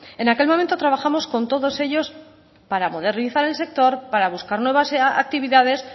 en aquel momento trabajamos con todos ellos para modernizar el sector para buscar nuevas actividades